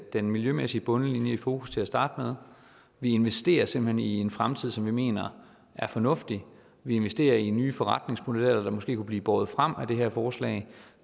den miljømæssige bundlinje i fokus til at starte med vi investerer simpelt hen i en fremtid som vi mener er fornuftig vi investerer i nye forretningsmodeller der måske kunne blive båret frem af det her forslag